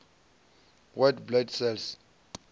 white blood cells